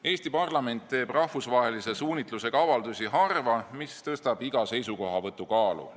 Eesti parlament teeb rahvusvahelise suunitlusega avaldusi harva, mis tõstab iga seisukohavõtu kaalu.